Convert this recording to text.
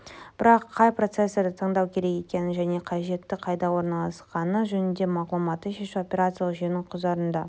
бірақ қай процессорды таңдау керек екенін және қажетті қайда орналасқаны жөніндегі мағлұматты шешу операциялық жүйенің құзырында